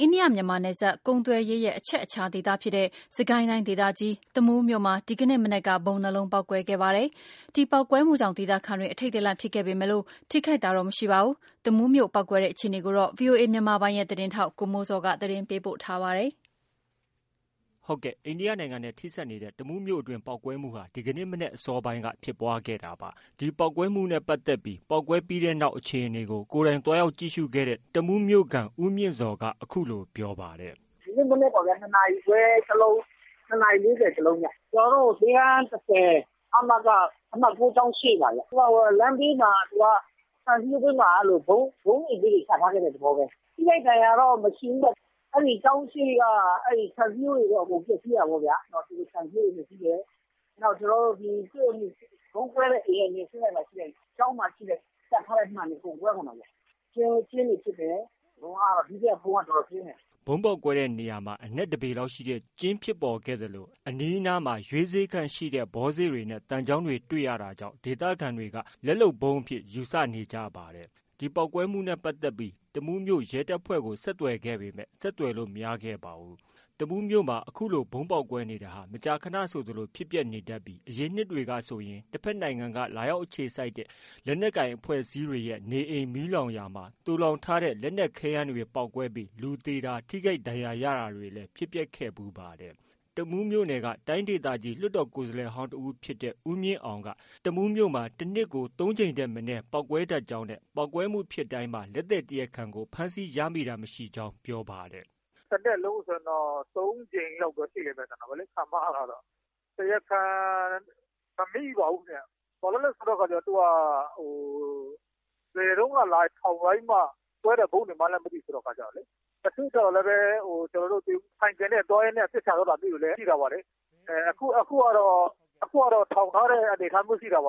အိန္ဒိယ-မြန်မာနယ်စပ်ကုန်သွယ်ရေးရဲ့ အချက်အခြာဒေသဖြစ်တဲ့ စစ်ကိုင်းတိုင်းဒေသကြီး တမူးမြို့မှာ ဒီကနေ့ မနက်က ဗုံး ၂လုံးပေါက်ကွဲခဲ့ပါတယ်။ ဒီပေါက်ကွဲမှုကြောင့် ဒေသခံတွေ အထိတ်တလန့်ဖြစ်ခဲ့ပေမဲ့ ထိခိုက်တာတော့ မရှိပါဘူး။ တမူးမြို့ ပေါက်ကွဲတဲ့အခြေအနေကိုတော့ ဗွီအိုအေမြန်မာပိုင်းရဲ့သတင်းထောက် ကိုမိုးဇော်က တင်ပြထားပါတယ်။ အိန္ဒိယနိုင်ငံနဲ့ ထိစပ်နေတဲ့ တမူးမြို့အတွင်း ပေါက်ကွဲတာဟာ ဒီကနေ့ မနက်အစောပိုင်း က ဖြစ်ပွားခဲ့တာပါ။ ဒီပေါက်ကွဲတာနဲ့ပတ်သက်ပြီး ပေါက်ကွဲပြီးနောက် အခြေအနေကို ကိုယ်တိုင်သွားရောက် ကြည့်ရှုခဲ့တဲ့ တမူးမြို့ခံတဦးဖြစ်တဲ့ ဦးမြင့်ဇော်က အခုလို ပြောပါတယ်။ “ဒီနေ့မနက်မှာပဲ ၂ နာရီခွဲ ၁ လုံး ၊ ၂ နာရီ၄၀ တုန်းက ၁ လုံးခင်ဗျ ကျနော်တို့ အမက အမှတ်၉ ကျောင်းရှေ့မှာခင်ဗျ။ သူက လမ်းဘေးမှာ အိတ်ကလေးတလုံး ချထားတဲ့ သဘောပဲ ၊ ထိခိုက်တာတွေတော့မရှိဘူး။ အဲဒီကျောင်းအရှေ့က ခြံစည်းရိုးတွေကတော့ အကုန်ပျက်စီးတာပေါ့ခင်ဗျ။ နောက်ပြီးတော့ ကျနော်တို့ ဗုံးကွဲတဲ့ အိမ်မျက်နှာချင်းဆိုင်မှာ ရှိတဲ့ ကျောင်းမှာရှိတဲ့ မှန်တွေအကုန်ကွဲကုန်တာပေါ့ခင်ဗျ ။ ဒါပေမယ့် ဒုတိယဗုံး ကတော့ တော်တော်ပြင်းတယ်ခင်ဗျ။” ဗုံးပေါက်တဲ့နေရာမှာ အနက် ၁ပေလောက်ရှိတဲ့ ကျင်းဖြစ်ပေါ်ခဲ့သလို အနီးအနား မှာ ရွေးစေ့ခန့်ရှိတဲ့ ဘောစေ့နဲ့ သံချောင်းတွေ တွေ့ရတာကြောင့် ဒေသခံတွေ ကတော့ လက်လုပ်ဗုံးအဖြစ်ယူဆနေကြပါတယ်။ ဒီပေါက်ကွဲမှုနဲ့ပတ်သက်ပြီး တမူးမြို့ ရဲတပ်ဖွဲ့ကို ဆက်သွယ်ခဲ့ပေမဲ့ ဆက်သွယ်လို့ မရခဲ့ပါဘူး။ တမူးမြို့မှာ အခုလို ဗုံးပေါက်ကွဲတာတွေဟာ မကြာခနဆိုသလိုဖြစ်ပျက်နေတတ်ပြီး အရင်နှစ်တွေကဆိုရင် တဖက်နိုင်ငံက လာရောက် အခြေစိုက်တဲ့ လက်နက်ကိုင် အဖွဲ့အစည်းတွေရဲ့ နေအိမ်မီးလောင်ရာမှာ သိုလှောင်ထားတဲ့ ခဲယမ်း မီးကျောက်တွေပေါက်ကွဲပြီး လူသေတာ၊ ထိခိုက်ဒဏ်ရာရတာတွေ လည်း ဖြစ်ပျက်ခဲ့ဖူးပါတယ်။ တမူးမြို့နယ် တိုင်းဒေသကြီး လွှတ်တော်ကိုယ်စားလှယ်ဟောင်းတဦးဖြစ်တဲ့ ဦးမြင့်အောင်ကတော့ တနှစ်ကို ၃ကြိမ်ထက်မနည်းပေါက်ကွဲ တတ်ကြောင်းနဲ့ ပေါက်ကွဲမှုဖြစ်တိုင်း မှာလည်း လက်သည်တရားခံကို ဖမ်းဆီးရမိတာမရှိကြောင်း ပြောပါတယ်။ “တနှစ်လုံးဆိုရင်တော့ ၃ ကြိမ်လောက်တော့ရှိတယ်ခင်ဗျ ၊ တရားခံတော့ မမိပါဘူးခင်ဗျ။ ဘာဖြစ်လို့လဲဆိုတော့ သူက ဘယ်တုန်းက လာထောင်ထားပြီးမှ ကွဲတဲ့ ဗုံးဆိုတာလည်း မသိလို့လေ ၊ အခုကတော့ ထောင်ထားတဲ့အနေအထားမျိုးရှိတယ်။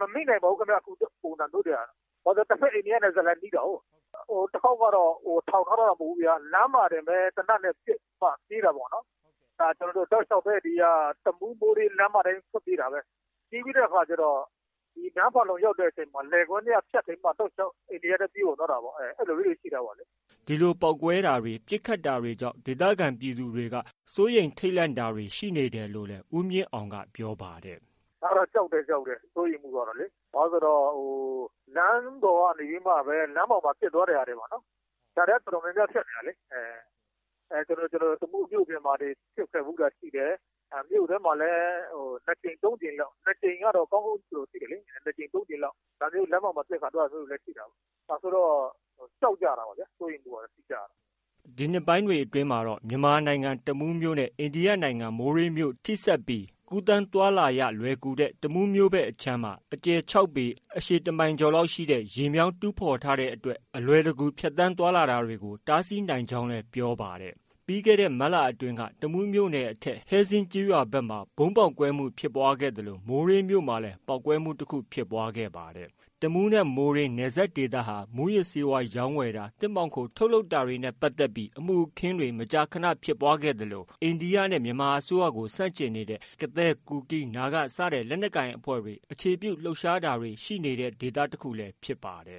မမိနိုင်ဘူးခင်ဗျ ဘာဖြစ်လို့လဲဆိုတော့ အိန္ဒိယနယ်စပ်နဲ့လည်းနီးတာကို ။ ဟိုတခေါက်ကတော့ ထောင်ထားတာမဟုတ်ဘူးခင်ဗျ လမ်းမှာတင် သေနတ်နဲ့ ပစ်ပြီးတော့ ပြေးတာ ဒီဟာတောက်လျှောက် တမူးလမ်းမထဲကနေထွက်ပြေးတာပဲ ၊ ပြေးပြီးတဲ့အခါကျတော့ တနေရာမှာ လယ်ကွင်းထဲက ဖြတ်ပြီးတော့မှ ပြေးဝင်သွားတာတွေလည်း ရှိတာ အဲဒီလိုမျိုးတွေလည်း ရှိတာပေါ့နော်။” ဒီလို ပေါက်ကွဲတာတွေ၊ ပစ်ခတ်တာတွေဖြစ်တာကြောင့် ဒေသခံပြည်သူတချို့ကတော့ စိုးရိမ်ထိတ်လန့်တာတွေရှိနေတယ်လို့လည်း ဦးမြင့်အောင်က ပြောပါတယ်။ “ကြောက်တယ်၊ စိုးရမ်မူလည်းရှိတယ် ဘာကြောင့်လဲဆိုတော့ လမ်းပေါ်မှာ ပစ်သွားတာတွေပေါ့နော်၊ ဒါတွေလည်းတော်တော်များများဖြစ်နေတာလေ။ တမူးမြို့ပြင်မှာ ဖြစ်တာတွေရှိတယ် မြို့အထဲမှာလည်း ၂ ကြိမ်-၃ ကြိမ်လောက် ဒါမျိုးလမ်းမမှ ပစ်သွားတဲ့အခါမျိုးတွေလည်းရှိတော့ ကြောက်ကြတယ်၊ စိုးရမ်မူလည်းရှိတယ်။” ဒီနှစ်ပိုင်းတွေအတွင်းမှာတော့ မြန်မာနိုင်ငံတမူးမြို့နဲ့ အိန္ဒိယနိုင်ငံ မိုးရေးမြို့ ထိစပ်ပြီး ကူးသန်းသွားလာရလွယ်ကူတဲ့နေရာတွေမှာ တမူးမြို့ခြမ်းမှာ အကျယ်၆ပေ အရှည် တစ်မိုင်ကျော်ရှိတဲ့ ရေမြောင်းတူးဖော်ထားတဲ့အတွက် အလွယ်တကူ ကူးသန်းသွားလာတာတွေကို တားဆီးနိုင်ကြောင်းလည်း ပြောပါတယ်။ ပြီးခဲ့တဲ့ မတ်လ အတွင်းကလည်း တမူးမြို့အထက် ဟဲဇင်းကျေးရွာဖက် မှာ ပေါက်ကွဲမှုဖြစ်ပွားခဲ့သလို မိုးရေးမြို့မှာ လည်း ပေါက်ကွဲမှုတခု ဖြစ်ပွားခဲ့ပါတယ်။ တမူးနဲ့ မိုးရေးမြို့ နယ်စပ်ဒေသဟာ မူးယစ်ဆေးဝါးရောင်းဝယ်တာ၊ သစ်မှောင်ခို ထုတ်လုပ်တာ စတဲ့ အမှုအခင်းတွေလည်း ရှိသလို အိန္ဒိယနဲ့ မြန်မာအစိုးရကို ဆန့်ကျင်နေတဲ့ ကသည်း၊ ကူကီး၊ နာဂ စတဲ့ လက်နက်ကိုင်အဖွဲ့တွေ အခြေပြုလှုပ်ရှားတာတွေ ရှိနေတဲ့ဒေသတခုလည်း ဖြစ်ပါတယ်။